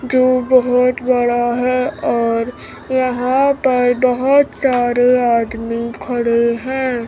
जो बहोत बड़ा है और यहां पर बहोत सारे आदमी खड़े हैं।